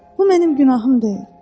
Bu mənim günahım deyil.